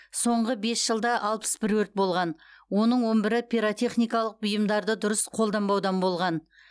соңғы бес жылда алпыс бір өрт болған оның он бірі пиротехникалық бұйымдарды дұрыс қолданбаудан болған